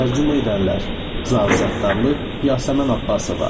Tərcümə edənlər: Zaur Səttarlı, Yasəmən Abbasova.